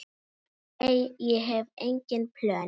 Nei, ég hef engin plön.